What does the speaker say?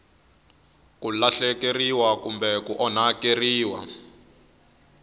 ku lahlekeriwa kumbe ku onhakeriwa